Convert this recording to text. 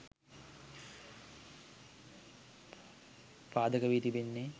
පාදක වී තිබෙන්නේ